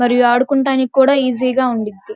మరియు వాడుకుంటానికి కూడా ఈజీగా ఉండింది.